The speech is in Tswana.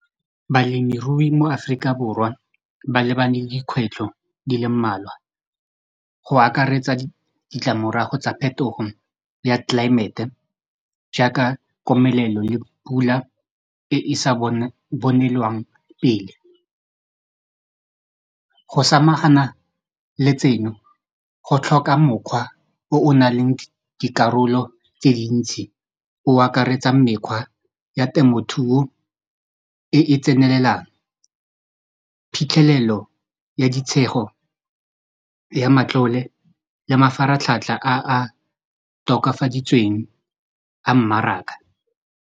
Balemirui mo Aforika Borwa ba lebane le dikgwetlho di le mmalwa go akaretsa ditlamorago tsa phetogo ya tlelaemete jaaka komelelo le pula e e sa bonelwang pele go samagana le tseno go tlhoka mokgwa o o nang le dikarolo tse dintsi o akaretsang mekgwa ya temothuo e e tsenelelang phitlhelelo ya ditshego ya matlole ya mafaratlhatlha a a tokafaditsweng a mmaraka.